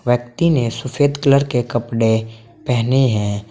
व्यक्ति ने सफेद कलर के कपड़े पहने हैं।